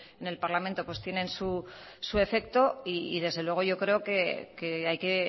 en el parlamento tienen su efecto y desde luego yo creo que hay que